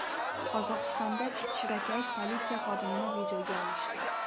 Qozog‘istonda shirakayf politsiya xodimini videoga olishdi .